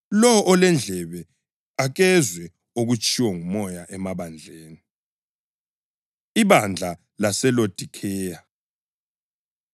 Lowo olendlebe, akezwe okutshiwo nguMoya emabandleni.” Ibandla LaseLodikheya